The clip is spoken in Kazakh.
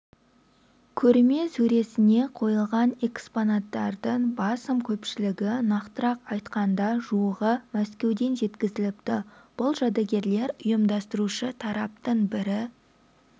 көрме сөресіне қойылған экспонаттардың басым көпшілігі нақтырақ айтқанда жуығы мәскеуден жеткізіліпті бұл жәдігерлер ұйымдастырушы тараптың бірі